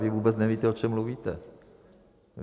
Vy vůbec nevíte, o čem mluvíte.